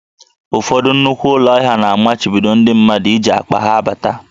Ụfọdụ nnukwu ụlọ ahịa na-amachibido ndị mmadụ iji akpa ha abata